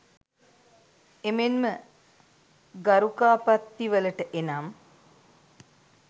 එමෙන්ම ගරුකාපත්තිවලට එනම්